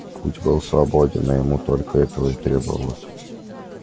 путь был свободен а ему только это и требовалось